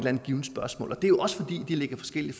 andet givent spørgsmål og det er jo også fordi de lægger forskellige